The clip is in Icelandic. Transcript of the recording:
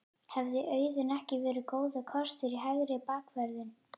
Hefði Auðun ekki verið góður kostur í hægri bakvörðinn?